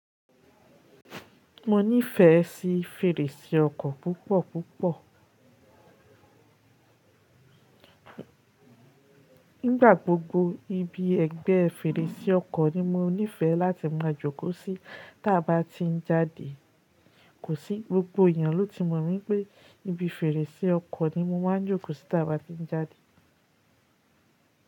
Mo nífẹ̀ẹ́ sí fèrèsé ọkọ̀ púpọ̀ púpọ̀. Nígbà gbogbo ibi ẹgbẹ́ fèrèsé ọkọ̀ ni mo nífẹ̀ẹ́ láti máa jókòó sí tí a bá ti ń jáde. Kò sí, gbogbo èèyàn ló ti mọ̀ wípé ibi fèrèsé ọkọ̀ ni mo máa ń jókòó sí tí a bá ti ń jáde.